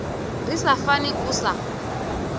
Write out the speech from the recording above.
ri sa fani u sa